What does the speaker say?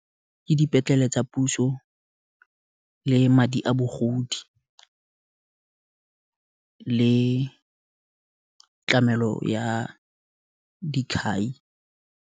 Ke dipetlele tsa puso, le madi a bogodi, le tlamelo ya dikhai.